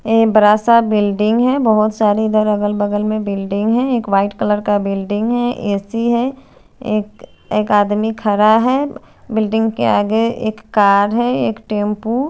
एक बरा सा बिल्डिंग है बोहोत सारे इधर अगल बगल में बिल्डिंग है एक वाइट कलर का बिल्डिंग है ए_सी है एक एक आदमी खड़ा है बिल्डिंग के आगे एक कार है एक टेम्पू --